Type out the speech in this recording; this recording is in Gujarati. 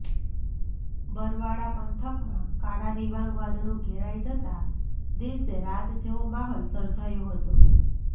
બરવાળા પંથકમાં કાળા ડિબાંગ વાદળો ઘેરાઈ જતા દિવસે રાત જેવો માહોલ સર્જાયો હતો